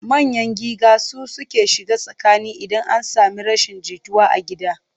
Manyan giga su suke shiga tsakani idan an sami rashin jituwa a gida.